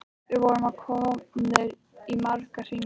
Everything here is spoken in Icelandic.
Við vorum komnir í marga hringi.